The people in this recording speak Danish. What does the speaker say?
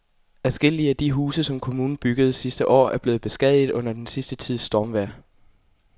Adskillige af de huse, som kommunen byggede sidste år, er blevet beskadiget under den sidste tids stormvejr.